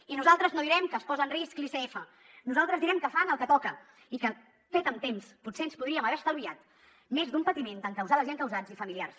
i nosaltres no direm que es posa en risc l’icf nosaltres direm que fan el que toca i que fet amb temps potser ens podríem haver estalviat més d’un patiment d’encausades i encausats i familiars